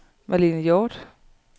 Marlene Hjort